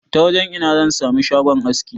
Ta wajan ina zan sami shagon aski?